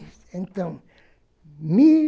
Então, mil